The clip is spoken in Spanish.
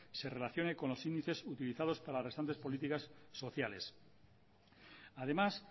se relacione con los índices utilizados para las restantes políticas sociales además